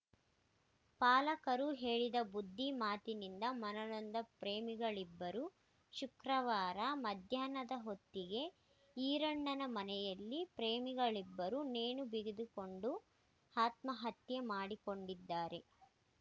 ಪಾಲಕರು ಹೇಳಿದ ಬುದ್ಧಿ ಮಾತಿನಿಂದ ಮನನೊಂದ ಪ್ರೇಮಿಗಳಿಬ್ಬರೂ ಶುಕ್ರವಾರ ಮಧ್ಯಾಹ್ನದ ಹೊತ್ತಿಗೆ ಈರಣ್ಣನ ಮನೆಯಲ್ಲಿ ಪ್ರೇಮಿಗಳಿಬ್ಬರು ನೇಣು ಬಿಗಿದುಕೊಂಡು ಆತ್ಮಹತ್ಯೆ ಮಾಡಿಕೊಂಡಿದ್ದಾರೆ